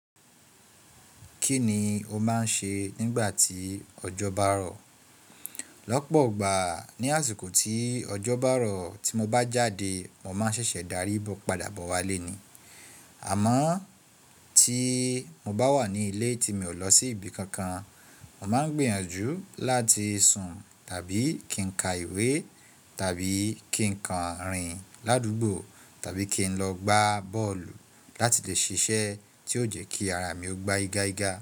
Kíni ó máa ń ṣe nígbà tí ọjọ́ bá rọ̀? Lọ́pọ̀ igbà ní àsìkò tí ọjọ́ bá rọ̀ tí mo bá jáde, mo máa ń ṣẹ̀ṣẹ̀ darí bó padà bọ̀ wá léèni. Àmọ́ tí mo bá wà ní ilé tí mi ò lọ sí ibi kankan, mo máa ń gbìyànjú láti sùn tàbí kí n ka ìwé tàbí kí n kan rìn l'àdúgbò tàbí kí n lọ gbá bọ́ọ̀lù láti lè ṣiṣẹ́ tí ó jẹ́ kí ara mi ó gbá iga iga.